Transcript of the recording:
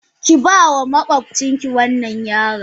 Ki bama makwabcin ki wannan yaron.